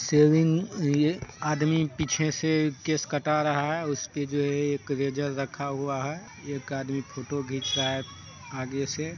Saving है ये आदमी पीछे से केस कटा रहा है उसपे जो है एक रेजर रखा हुआ है। एक आदमी फोटो घीच रहा है आगे से--